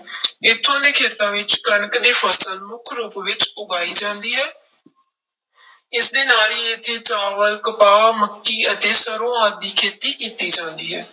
ਇੱਥੋਂ ਦੇ ਖੇਤਾਂ ਵਿੱਚ ਕਣਕ ਦੀ ਫਸਲ ਮੁੱਖ ਰੂਪ ਵਿੱਚ ਉਗਾਈ ਜਾਂਦੀ ਹੈ ਇਸਦੇ ਨਾਲ ਹੀ ਇੱਥੇ ਚਾਵਲ, ਕਪਾਹ, ਮੱਕੀ ਅਤੇ ਸਰੋਂ ਆਦਿ ਦੀ ਖੇਤੀ ਕੀਤੀ ਜਾਂਦੀ ਹੈ।